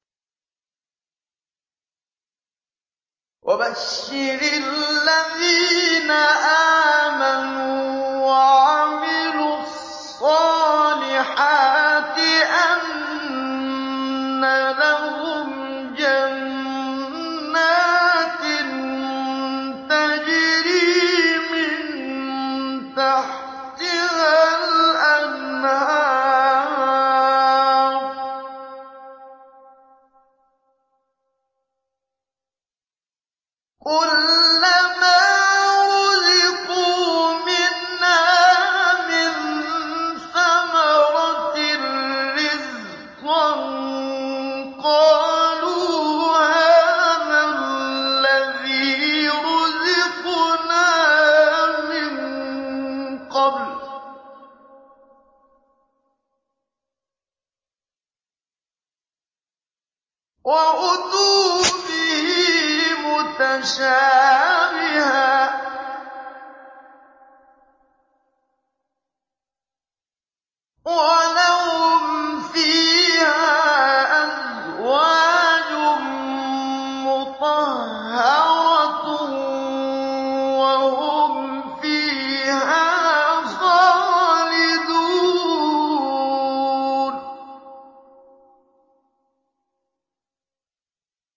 وَبَشِّرِ الَّذِينَ آمَنُوا وَعَمِلُوا الصَّالِحَاتِ أَنَّ لَهُمْ جَنَّاتٍ تَجْرِي مِن تَحْتِهَا الْأَنْهَارُ ۖ كُلَّمَا رُزِقُوا مِنْهَا مِن ثَمَرَةٍ رِّزْقًا ۙ قَالُوا هَٰذَا الَّذِي رُزِقْنَا مِن قَبْلُ ۖ وَأُتُوا بِهِ مُتَشَابِهًا ۖ وَلَهُمْ فِيهَا أَزْوَاجٌ مُّطَهَّرَةٌ ۖ وَهُمْ فِيهَا خَالِدُونَ